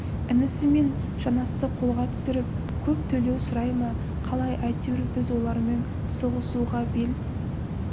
інісі мен жанасты қолға түсіріп көп төлеу сұрай ма қалай әйтеуір біз олармен соғысуға бел